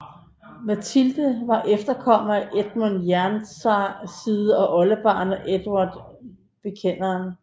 Matilde var efterkommer af Edmund Jernside og var oldebarn af Edvard Bekenderen